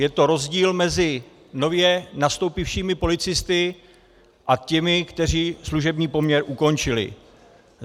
Je to rozdíl mezi nově nastoupivšími policisty a těmi, kteří služební poměr ukončili.